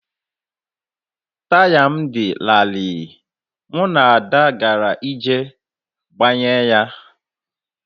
Taya m dị larịị, mụ na Ada gara iji gbanye ya